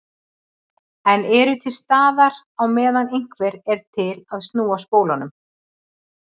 En eru til staðar á meðan einhver er til að snúa spólunum.